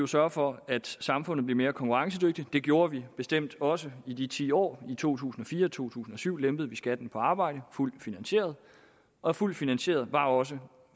sørge for at samfundet bliver mere konkurrencedygtigt det gjorde vi bestemt også i de ti år i to tusind og fire og i to tusind og syv lempede vi skatten på arbejde fuldt finansieret og fuldt finansieret var også